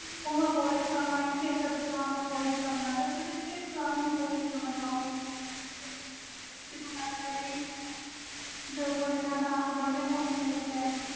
ਓਹਨੂੰ abolish ਕਰਨਾ ਹੋਵੇ ਕਿਸੇ ਇਕ ਆਹਦੇ law ਨੂੰ ਕਰਨਾ ਵ ਤੁਸੀ ਕਿਸ ਨੂੰ abolish ਕਰਨਾ ਚਾਹੁੰਗੇ